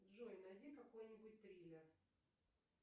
джой найди какой нибудь триллер